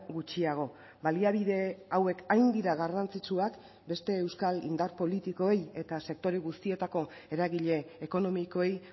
gutxiago baliabide hauek hain dira garrantzitsuak beste euskal indar politikoei eta sektore guztietako eragile ekonomikoei